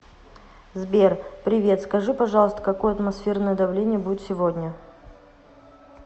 сбер привет скажи пожалуйста какое атмосферное давление будет сегодня